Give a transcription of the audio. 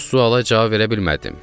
Bu suala cavab verə bilmədim.